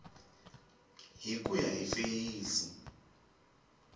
hi ku ya hi feyisi